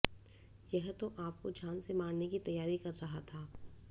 यह तो आपको जान से मारने की तैयारी कर रहा था